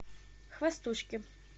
хвостушки